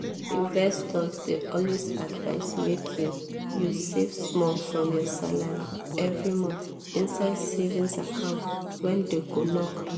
investors dey always advise make you you save small from your salary every month inside savings account wey dem go lock